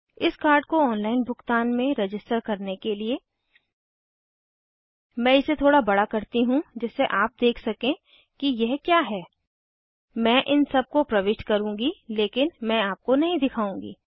इस कार्ड को ऑनलाइन भुगतान में रजिस्टर करने के लिए मैं इसे थोड़ा बड़ा करती हूँ जिससे आप देख सकें कि यह क्या है मैं इन सब को प्रविष्ट करुँगी लेकिन मैं आपको नहीं दिखाऊँगी